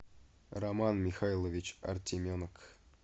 роман михайлович артеменок